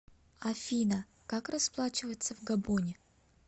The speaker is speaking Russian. афина как расплачиваться в габоне